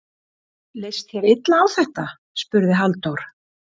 Leist þér illa á þetta? spurði Halldór.